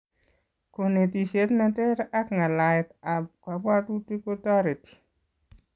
Konetisiet neter ak ng'alaiet ab kabwatuktik kotoretii